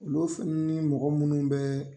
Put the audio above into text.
Olu fɛnɛ ni mɔgɔ minnu bɛ